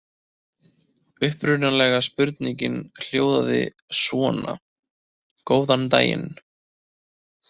Upprunalega spurningin hljóðaði svona: Góðan daginn!